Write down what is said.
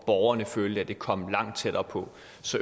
borgerne følte at det kom langt tættere på